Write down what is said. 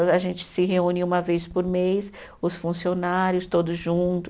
A gente se reúne uma vez por mês, os funcionários todos juntos.